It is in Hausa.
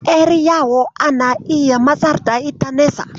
Ƴar yawo ana iya matsar da ita nesa.